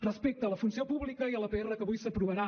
respecte a la funció pública i a la pr que avui s’aprovarà